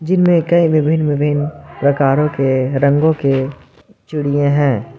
जिनमे कई विभिन्न विभिन्न प्रकारों के रंगों के चिड़िए है।